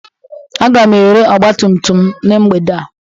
Aga m ere ọgbatumtum m na mgbede a